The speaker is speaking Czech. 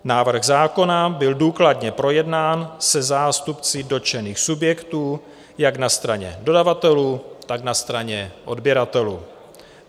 Návrh zákona byl důkladně projednán se zástupci dotčených subjektů jak na straně dodavatelů, tak na straně odběratelů.